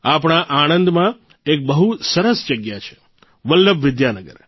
આપણા આણંદમાં એક બહુ સરસ જગ્યા છે વલ્લભ વિદ્યાનગર